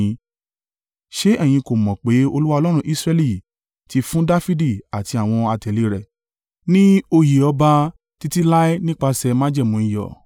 Ṣé ẹ̀yin kò mọ̀ pé Olúwa Ọlọ́run Israẹli ti fún Dafidi àti àwọn àtẹ̀lé rẹ̀ ni oyè ọba títí láé nípasẹ̀ májẹ̀mú iyọ̀?